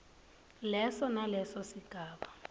leso naleso sigaba